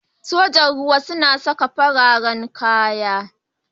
Sojan ruwa suna saka fararen kaya.